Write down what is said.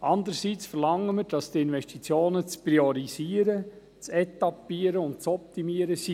Andererseits verlangen wir, dass die Investitionen zu priorisieren, zu etappieren und zu optimieren sind;